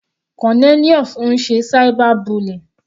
Cornelius ń ṣe cyber bullying.